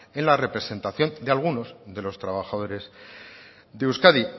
en la representación de algunos de los trabajadores de euskadi